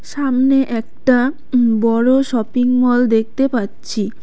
সামনে একটা উম বড় শপিংমল দেখতে পাচ্ছি।